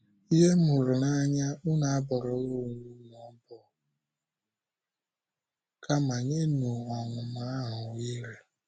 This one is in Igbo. Ndị m hụrụ n’anya, unu abọrọla onwe unu ọbọ bọ, kama nyenụ ọnụma ahụ ohere. ”